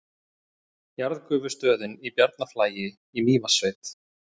Jarðgufustöðin í Bjarnarflagi í Mývatnssveit.